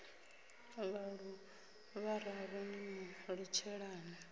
vhaṋu vhararu ni mu litshelani